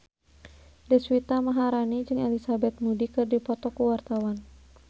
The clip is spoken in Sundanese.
Deswita Maharani jeung Elizabeth Moody keur dipoto ku wartawan